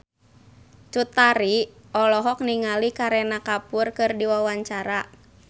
Cut Tari olohok ningali Kareena Kapoor keur diwawancara